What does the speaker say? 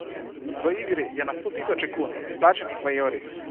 V igri je na stotisoče kun, izplačanih v evrih.